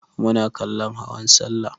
Muna kallon hawan sallah.